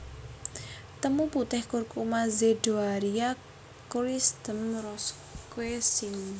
Temu putih Curcuma zedoaria Christm Roscoe syn